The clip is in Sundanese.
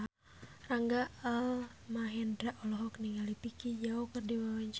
Rangga Almahendra olohok ningali Vicki Zao keur diwawancara